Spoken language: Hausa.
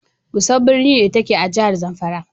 Gusau birni ne, da ke a jihar zamfara.